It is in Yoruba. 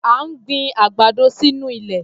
À ń gbin àgbàdo sínú ilẹ̀.